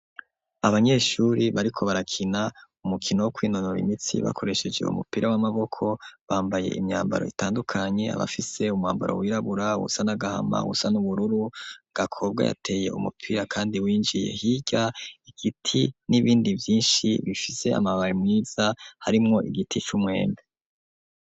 Abanyeshuri bariko barakina umukino wo kw'intonoro imitsi bakoresheje umupira w'amaboko bambaye imyambaro itandukanye abafise umhambaro w'irabura ubusa nagahama husa n'ubururu gakobwa yateye umupira kandi winjiye higa igiti n'ibindi byinshi bifise amabare mwiza harimwo igiti c'umwembe.